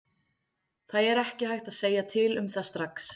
Það er ekki hægt að segja til um það strax.